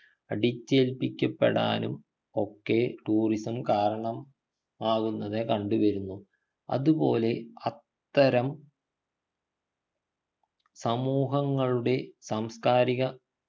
അടിച്ചേൽപ്പിക്കപ്പെടാനും ഒക്കെ tourism കാരണം ആകുന്നത് കണ്ടു വരുന്നു അതുപോലെ അത്തരം സമൂഹങ്ങളുടെ സാംസ്കാരിക